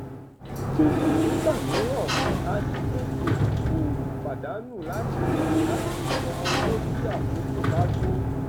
gbèsè nígbà míràn ajigbèsè òwò pàdánù láti láti san owó tí àkókò bá tó